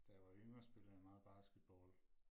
Da jeg var yngre spillede jeg meget basketball